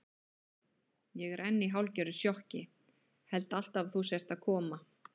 Ég er enn í hálfgerðu sjokki, held alltaf að þú sért að koma.